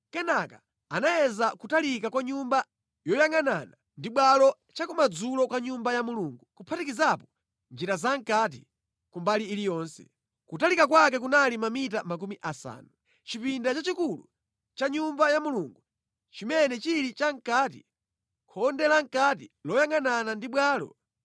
Kenaka anayeza kutalika kwa nyumba yoyangʼanana ndi bwalo chakumadzulo kwa Nyumba ya Mulungu, kuphatikizapo njira zamʼkati ku mbali iliyonse. Kutalika kwake kunali mamita makumi asanu. Chipinda chachikulu cha Nyumba ya Mulungu, chimene chili chamʼkati, khonde lamʼkati loyangʼanana ndi bwalo,